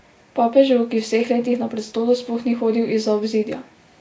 Papežu, ki v vseh letih na prestolu sploh ni hodil izza obzidja.